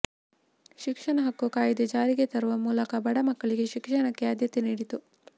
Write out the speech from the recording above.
ಶಿಕ್ಷಣ ಹಕ್ಕು ಕಾಯಿದೆ ಜಾರಿಗೆ ತರುವ ಮೂಲಕ ಬಡ ಮಕ್ಕಳಿಗೆ ಶಿಕ್ಷಣಕ್ಕೆ ಆಧ್ಯತೆ ನೀಡಿತು